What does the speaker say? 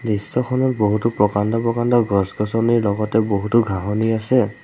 দৃশ্যখনত বহুতো প্ৰকাণ্ড প্ৰকাণ্ড গছ-গছনিৰ লগতে বহুতো ঘাঁহনি আছে।